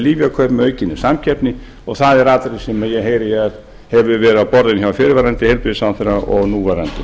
lyfjakaup með aukinni samkeppni og það er atriði sem ég heyri að hefur verið á borðum hjá fyrrverandi heilbrigðisráðherra og núverandi